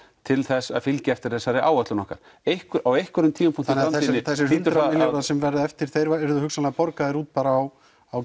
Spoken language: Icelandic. til þess að fylgja eftir þessari áætlun okkar á einhverjum tímapunkti þannig að þessir hundrað milljarðar sem verða eftir þeir verða hugsanlega borgaðir út á